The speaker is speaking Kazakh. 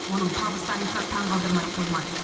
оның табыс тарихы таңғалдырмай қоймайды